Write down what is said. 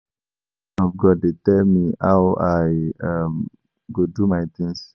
No man of God dey tell me how I um go do my things